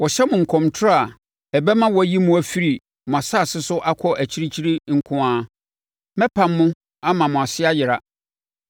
Wɔhyɛ mo nkɔmtorɔ a ɛbɛma wɔayi mo afiri mo asase so akɔ akyirikyiri nko ara; mɛpam mo ama mo ase ayera.